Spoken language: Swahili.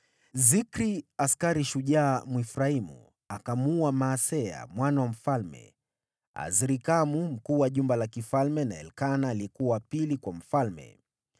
Zikri, askari shujaa Mwefraimu, akamuua Maaseya mwana wa mfalme, Azrikamu mkuu wa jumba la kifalme na Elikana aliyekuwa wa pili kwa mfalme.